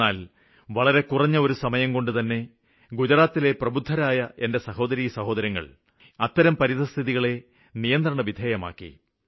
എന്നാല് വളരെ കുറഞ്ഞ ഒരു സമയംകൊണ്ടുതന്നെ ഗുജറാത്തിലെ പ്രബുദ്ധരായ എന്റെ സഹോദരീസഹോദരങ്ങള് അത്തരം പരിതസ്ഥിതികളെ നിയന്ത്രണവിധേയമാക്കി